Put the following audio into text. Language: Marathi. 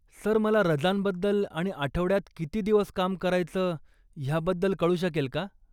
सर मला रजांबद्दल आणि आठवड्यात किती दिवस काम करायचं ह्याबद्दल कळु शकेल का?